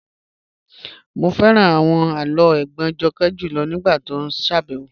Mo fẹ́ran awọn àlọ́ ègbón Jọ́kẹ́ júlọ̀ nígbàtí o ṣábẹwo